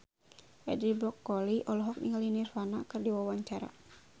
Edi Brokoli olohok ningali Nirvana keur diwawancara